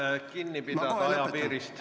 Palume kinni pidada ajapiirist!